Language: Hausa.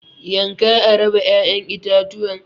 yanka a raba ya'yan itatuwan.